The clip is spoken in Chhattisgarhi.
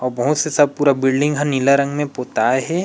अउ बहुत से सब पुरा बिल्डिंग ह नीला रंग में पोताए हे।